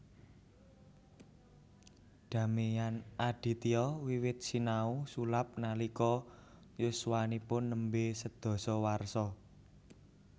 Damian Aditya wiwit sinau sulap nalika yuswanipun nembe sedasa warsa